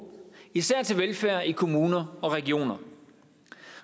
især til velfærd i kommuner og regioner